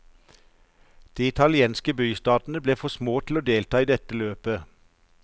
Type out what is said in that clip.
De italienske bystatene ble for små til å delta i dette løpet.